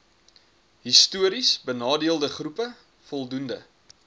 histories benadeeldegroepe voldoende